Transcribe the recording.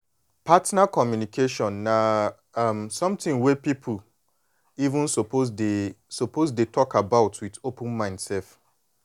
partner communication na um something wey people even suppose dey suppose dey talk about with open mind sef